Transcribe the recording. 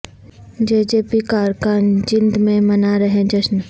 جے J P کارکنان جیند میں منا رہے جشن